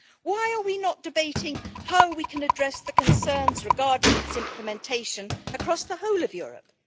Why are we not debating how we can address the concerns regarding its implementation across the whole of Europe?